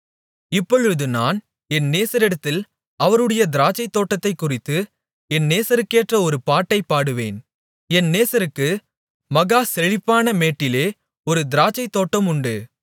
இப்பொழுது நான் என் நேசரிடத்தில் அவருடைய திராட்சைத்தோட்டத்தைக்குறித்து என் நேசருக்கேற்ற ஒரு பாட்டைப் பாடுவேன் என் நேசருக்கு மகா செழிப்பான மேட்டிலே ஒரு திராட்சைத்தோட்டம் உண்டு